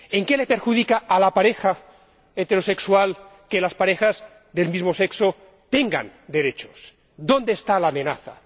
¿En qué le perjudica a la pareja heterosexual que las parejas del mismo sexo tengan derechos? ¿Dónde está la amenaza?